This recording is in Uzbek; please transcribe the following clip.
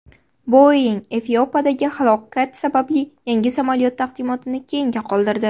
Boeing Efiopiyadagi halokat sababli yangi samolyot taqdimotini keyinga qoldirdi.